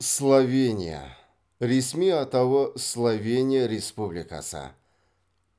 словения ресми атауы словения республикасы